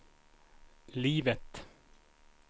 livet